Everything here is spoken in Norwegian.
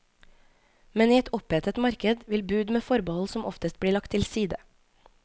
Men i et opphetet marked vil bud med forbehold som oftest bli lagt til side.